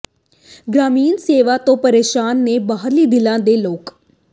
ਗ੍ਰਾਮੀਣ ਸੇਵਾ ਤੋਂ ਪ੍ਰੇਸ਼ਾਨ ਨੇ ਬਾਹਰੀ ਦਿੱਲੀ ਦੇ ਲੋਕ